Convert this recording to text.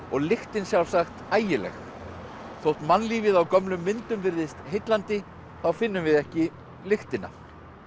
og lyktin sjálfsagt ægileg þótt mannlífið á gömlum myndum virðist heillandi þá finnum við ekki lyktina